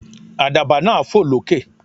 Àdàbà náà fò lókè.